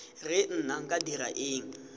re nna nka dira eng